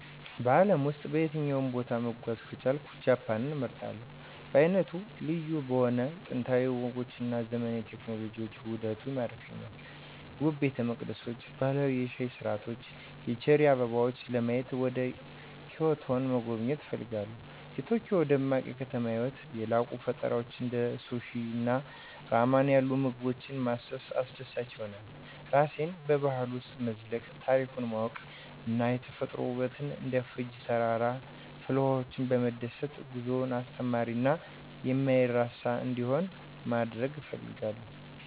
በአለም ውስጥ በየትኛውም ቦታ መጓዝ ከቻልኩ ጃፓንን እመርጣለሁ. በዓይነቱ ልዩ በሆነው የጥንታዊ ወጎች እና የዘመናዊ ቴክኖሎጂ ውህደቱ ይማርከኛል። ውብ ቤተመቅደሶችን፣ ባህላዊ የሻይ ሥርዓቶችን እና የቼሪ አበቦችን ለማየት ወደ ኪዮቶን መጎብኘት እፈልጋለሁ። የቶኪዮ ደማቅ የከተማ ህይወትን፣ የላቁ ፈጠራዎችን እና እንደ ሱሺ እና ራመን ያሉ ልዩ ምግቦችን ማሰስ አስደሳች ይሆናል። ራሴን በባህሉ ውስጥ መዝለቅ፣ ታሪኩን ማወቅ እና የተፈጥሮ ውበቱን እንደ ፉጂ ተራራ እና ፍልውሃዎች በመደሰት ጉዞውን አስተማሪ እና የማይረሳ እንዲሆን ማድረግ እፈልጋለሁ።